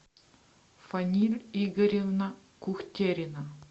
фаниль игоревна кухтерина